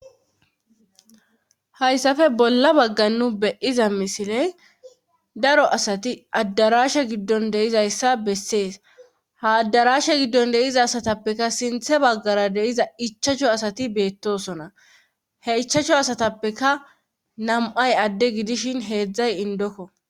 Hayssappe bolla bagga nu beyiza misiley daro asati addarashe giddon de'iza issa bessees. Ha addarashe giddon de'iza asatappekka sintha baggara de'iza ichashu asati beettosona. He ichashu asatappeka nam'ay adde gidishin heezzay indokko.